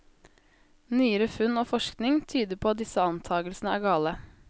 Nyere funn og forskning tyder på at disse antagelsene er gale.